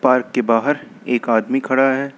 Park के बाहर एक आदमी खड़ा है।